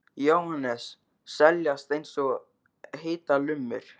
Jóhannes: Seljast eins og heitar lummur?